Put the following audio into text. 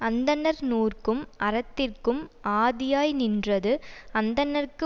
அந்தணர் நூற்கும் அறத்திற்கும் ஆதியாய் நின்றது அந்தணர்க்கு